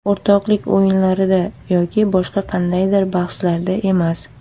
O‘rtoqlik o‘yinlarida yoki boshqa qandaydir bahslarda emas.